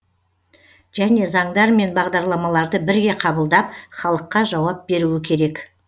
және заңдар мен бағдарламаларды бірге қабылдап халыққа жауап беруі керек